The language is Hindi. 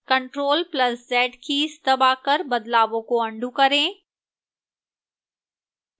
ctrl + z कीज़ दबाकर बदलावों को अन्डू करें